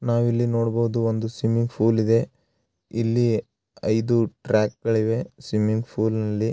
ನಾವು ಇಲ್ಲಿ ನೋಡಬಹುದು ಒಂದು ಸ್ವಿಮಿಂಗ್‌ ಫೂಲ್‌ ಇದೆ ಇಲ್ಲಿ ಐದು ಟ್ರ್ಯಾಕ್‌ ಇವೆ ಸ್ವಿಮಿಂಗ್‌ ಫೂಲ್‌ ನಲ್ಲಿ.